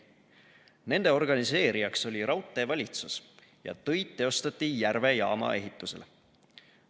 Nende organiseerijaks oli Raudteevalitsus ja töid teostati Järve jaama ehitusel.